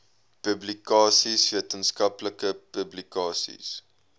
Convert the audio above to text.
publikasies wetenskaplike publikasies